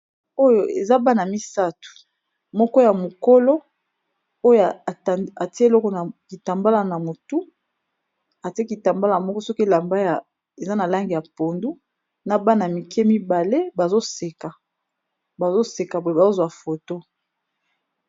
Oyo eza bana misato, moko ya mokolo oyo a tia eloko na kitambala na motu, a tia kitambala moko soki elamba ya eza na langi ya pondu, na bana mike mibale bazo seka boye bazo zwa photo .